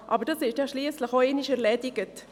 Aber das ist ja schliesslich auch einmal erledigt.